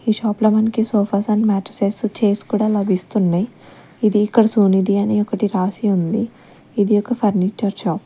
ఈ షాప్ లో మనకి సోఫాస్ అండ్ మ్యాట్రెసెస్ చైర్స్ కూడా లభిస్తున్నాయి ఇది ఇక్కడ సోనీది అని ఒకటి రాసి ఉంది ఇది ఒక ఫర్నిచర్ షాప్ .